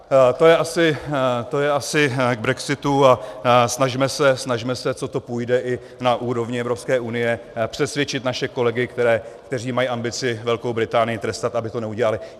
To je asi k brexitu a snažme se, co to půjde, i na úrovni Evropské unie přesvědčit naše kolegy, kteří mají ambici Velkou Británii trestat, aby to nedělali.